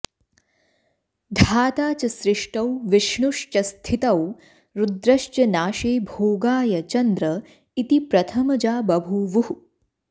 धाता च सृष्टौ विष्णुश्च स्थितौ रुद्रश्च नाशे भोगाय चन्द्र इति प्रथमजा बभूवुः